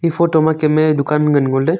e photo kemmey dukan ngan ngoley.